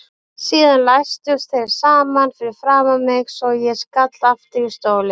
Síðan læstust þeir saman fyrir framan mig svo ég skall aftur í stólinn.